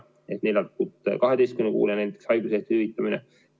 Mõtlen neljalt kuult 12 kuuni haiguslehtede hüvitamist.